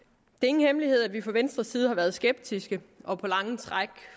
ingen hemmelighed at vi fra venstres side har været skeptiske og på lange træk